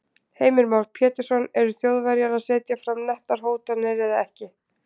Heimir Már Pétursson: Eru Þjóðverjar að setja fram nettar hótanir eða ekki?